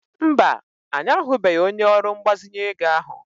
Mba, anyị ahụbeghị onye ọrụ mgbazinye ego ahụ.